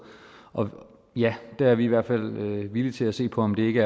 og der er vi i hvert fald villige til at se på om ikke